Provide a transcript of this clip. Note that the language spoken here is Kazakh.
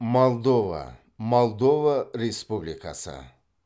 молдова молдова республикасы